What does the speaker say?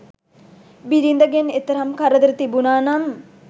බිරිඳගෙන් එතරම් කරදර තිබුණා නම්